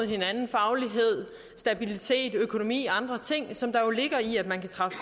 hinanden faglighed stabilitet økonomi andre ting som der jo ligger i at man kan træffe